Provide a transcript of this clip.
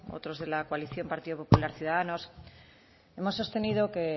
otros de la coalición partido popular ciudadanos hemos sostenido que